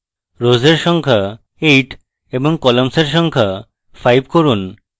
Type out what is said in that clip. rows এর সংখ্যা 8 এবং columns এর সংখ্যা 5 করুন